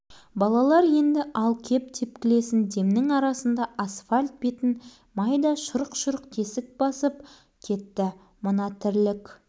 біреудің еңбегін еш ету ғой бұл балалар қойыңдар мұнымыз ұят әсіресе құрылысшылардан ұят мынаны көргеңде олар